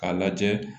K'a lajɛ